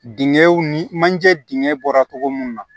Dingɛw ni manje dingɛ bɔra cogo mun na